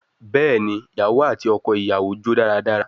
Bẹẹni, iyawo ati ọkọ iyawo jó daradara